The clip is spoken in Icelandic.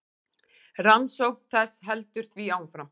Rannsókn þess heldur því áfram.